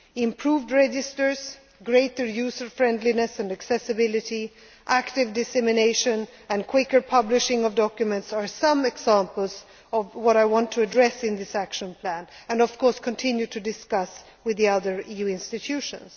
action plan. Improved registers, greater user friendliness and accessibility, active dissemination, and quicker publishing of documents are some examples of what I want to address in this action plan and, of course, continue to discuss with the other EU